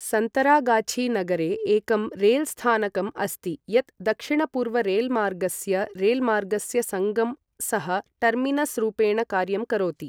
सन्तरागाछि नगरे एकं रेलस्थानकम् अस्ति यत् दक्षिणपूर्व रेलमार्गस्य रेलमार्गस्य सङ्गम सह टर्मिनसरूपेण कार्यं करोति ।